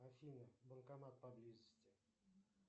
афина банкомат поблизости